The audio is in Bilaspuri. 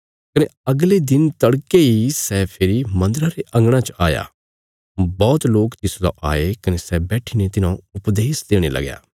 कने अगले दिन तड़के इ सै फेरी मन्दरा रे अंगणा च आया बौहत लोक तिसलौ आये कने सै बैठीने तिन्हौं उपदेश देणे लगया